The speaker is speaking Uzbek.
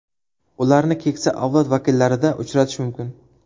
Ularni keksa avlod vakillarida uchratish mumkin.